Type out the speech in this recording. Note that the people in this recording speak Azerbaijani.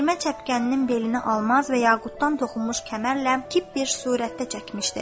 Tirmə çəpkəninin belini almaz və yaqutdan toxunmuş kəmərlə kip bir surətdə çəkmişdi.